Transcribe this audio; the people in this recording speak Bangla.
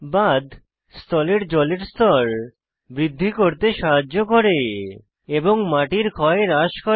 বাঁধ স্থলের জলের স্তর বৃদ্ধি করতে সাহায্য করে এবং মাটির ক্ষয় হ্রাস করে